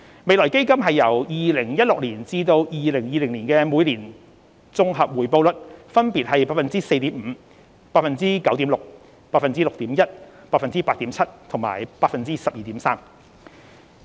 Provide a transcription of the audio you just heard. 未來基金由2016年至2020年每年的綜合回報率分別為 4.5%、9.6%、6.1%、8.7% 和 12.3%。